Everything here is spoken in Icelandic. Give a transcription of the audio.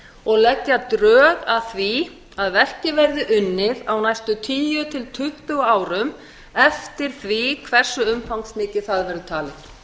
og leggja drög að því að verkið verði unnið á næstu tíu til tuttugu árum eftir því hversu umfangsmikið það verður talið